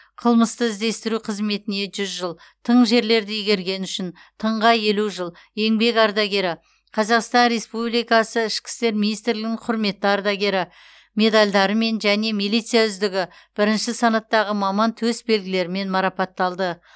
қылмысты іздестіру қызметіне жүз жыл тың жерлерді игергені үшін тыңға елу жыл еңбек ардагері қазақстан республикасы ішкі істер министрлігінің құрметті ардагері медальдарымен және милиция үздігі бірінші санаттағы маман төсбелгілерімен марапатталды